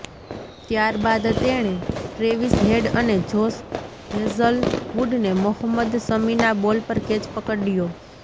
ત્યારબાદ તેણે Travis Head અને જોશ હેઝલવુડને મોહમ્મદ શમીના બોલ પર કેચ પકડયો